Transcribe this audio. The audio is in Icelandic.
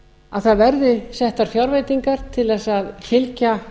að það verði settar fjárveitingar til þess að fylgja